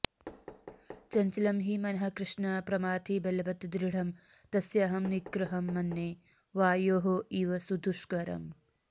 चञ्चलं हि मनः कृष्ण प्रमाथि बलवत् दृढम् तस्य अहं निग्रहं मन्ये वायोः इव सुदुष्करम्